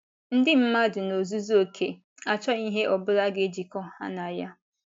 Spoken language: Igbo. Ndị mmadụ n’ozuzu oké achọghị ihe ọ bụla ga - ejikọ ha na ya.